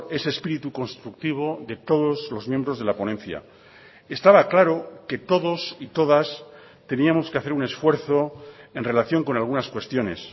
ese espíritu constructivo de todos los miembros de la ponencia estaba claro que todos y todas teníamos que hacer un esfuerzo en relación con algunas cuestiones